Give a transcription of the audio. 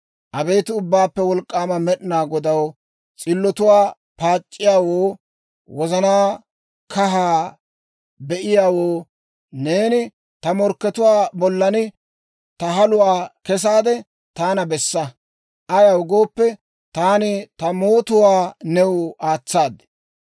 Abeet Ubbaappe Wolk'k'aama Med'inaa Godaw, s'illotuwaa paac'c'iyaawoo, wozanaa kahaa be'iyaawoo, neeni ta morkkatuwaa bollan ta haluwaa kessaade taana bessa. Ayaw gooppe, taani ta mootuwaa new aatsaad.